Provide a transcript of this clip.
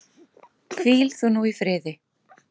Hvíl þú nú í friði.